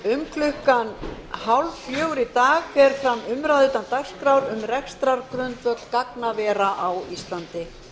klukkan hálffjögur í dag fer fram umræða utan dagskrár um rekstrargrundvöll gagnavera á íslandi